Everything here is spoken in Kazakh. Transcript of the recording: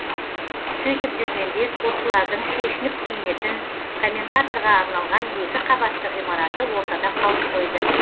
сөйтіп жүргенде спортшылардың шешініп киінетін комментаторға арналған екі қабатты ғимараты ортада қалып қойды